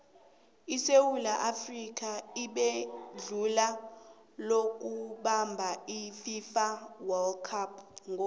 isewula afrika ibenetjhudu lokubamab ififa wold cup ngo